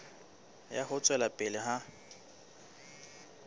ya ho tswela pele ha